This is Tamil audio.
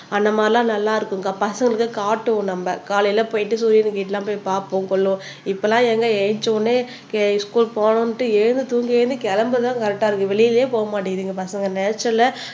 அந்த மாதிரி எல்லாம் நல்லா இருக்கும்க்கா பசங்களுக்கு காட்டுவோம் நம்ம காலையில போயிட்டு சூரியன் கிட்ட எல்லாம் போய் பார்ப்போம் கொல்லுவோம் இப்ப எல்லாம் ஏங்க எந்திரிச்ச உடனே கே ஸ்கூல் போகணும்னுட்டு எழுந்து தூங்கி எழுந்து கிளம்புறதுதான் கரெக்ட்டா இருக்கு வெளியிலேயே போக மாட்டேங்குது எங்க பசங்க நேச்சரல்லா